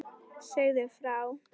Segðu frá.